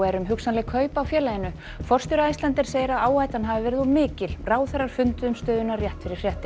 um hugsanleg kaup á félaginu forstjóri Icelandair segir að áhættan hafi verið of mikil ráðherrar funduðu um stöðuna rétt fyrir fréttir